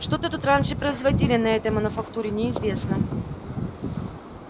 что то тут раньше производили на этой мануфактуре неизвестно